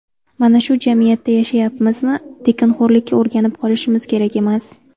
Mana shu jamiyatda yashayapmizmi, tekinxo‘rlikka o‘rganib qolishimiz kerak emas.